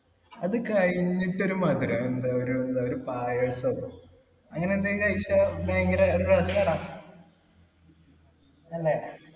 അത് കഴിഞ്ഞിട്ട് ഒരു മധുരം എന്താ ഒരു എന്താ ഒരു പായസം അങ്ങനെ എന്തെലും കഴിച്ചാ ഭയങ്കര അല്ലെ